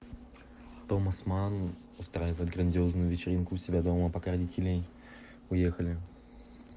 томас манн устраивает грандиозную вечеринку у себя дома пока родители уехали